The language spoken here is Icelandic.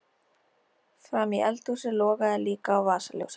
Frammí eldhúsi logaði líka á vasaljósi.